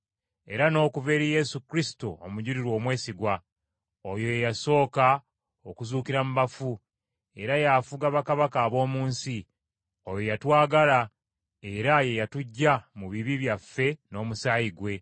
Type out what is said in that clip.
era n’okuva eri Yesu Kristo omujulirwa omwesigwa. Oyo ye yasooka okuzuukira mu bafu, era y’afuga bakabaka ab’omu nsi; oyo yatwagala, era ye yatuggya mu bibi byaffe n’omusaayi gwe,